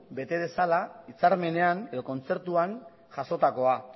bete dezala hitzarmenean edo kontzertuan jasotakoa